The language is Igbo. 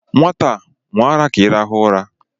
Nwata a! Ṅụọ ara ka ị rahụ ụra!